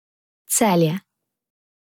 Celje.